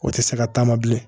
O tɛ se ka taama bilen